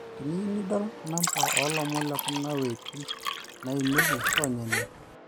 teniyieu nidol number oo lomon lekuna waitin naipimieki ronya ene